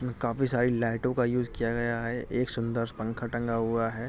काफी सारी लाइटों का यूज़ किया गया है। एक सुन्दर-सा पंखा टंगा हुआ है।